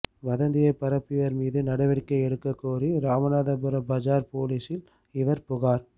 வதந்தியை பரப்பியவர் மீது நடவடிக்கை எடுக்க கோரி ராமநாதபுரம் பஜார் போலீசில் இவர் புகார்